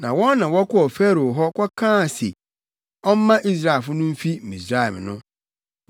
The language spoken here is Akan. Na wɔn na wɔkɔɔ Farao hɔ kɔkaa se ɔmma Israelfo no mfi Misraim no.